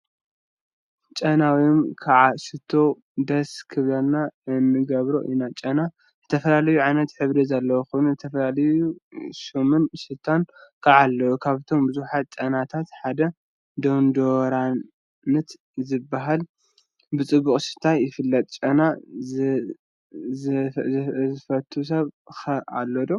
ጨና ወይ ከዓ ሽቶ ደስ ክብለና እንገብሮ ኢና፡፡ ጨና ዝተፈላለየ ዓይነትን ሕብሪን ዘለዎ ኮይኑ፤ ዝተፈላለየ ሹምን ሽታን ከዓ አለዎ፡፡ ካብቶም ቡዙሓት ጨናታት ሓደ ዶንዶራንት ዝበሃል ብፅቡቅ ሽታ ይፍለጥ፡፡ ጨና ዘይፈቱ ሰብ ኸ አሎ ዶ?